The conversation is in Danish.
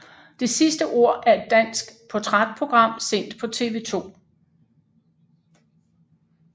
Det sidste ord er et dansk portrætprogram sendt på TV 2